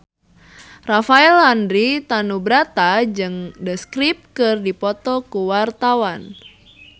Rafael Landry Tanubrata jeung The Script keur dipoto ku wartawan